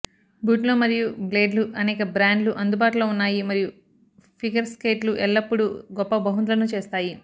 బూట్లు మరియు బ్లేడ్లు అనేక బ్రాండ్లు అందుబాటులో ఉన్నాయి మరియు ఫిగర్ స్కేట్లు ఎల్లప్పుడూ గొప్ప బహుమతులను చేస్తాయి